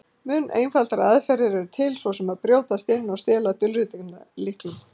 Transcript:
Mun einfaldari aðferðir eru til, svo sem að brjótast inn og stela dulritunarlyklum.